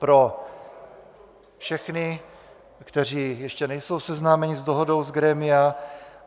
Pro všechny, kteří ještě nejsou seznámeni s dohodou z grémia.